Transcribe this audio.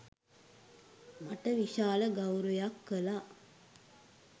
මට විශාල ගෞරවයක් කළා